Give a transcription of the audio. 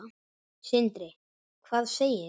Sindri: Hvað segirðu?